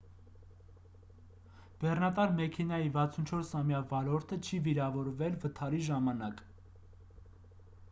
բեռնատար մեքենայի 64-ամյա վարորդը չի վիրավորվել վթարի ժամանակ